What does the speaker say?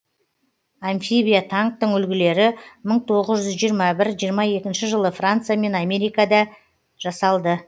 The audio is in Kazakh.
амфибия танктің үлгілері мың тоғыз жүз жиырма бір жиырма екінші жылы франция мен америкада жасалды